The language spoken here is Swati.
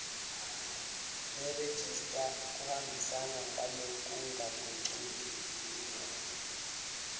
nerejista kuhambisana ngalokungagucuki